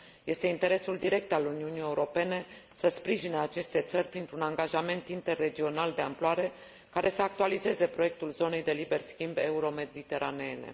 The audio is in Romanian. Este interesul direct al Uniunii Europene să sprijine aceste țări printr un angajament interregional de amploare, care să actualizeze proiectul zonei de liber schimb euromediteraneene.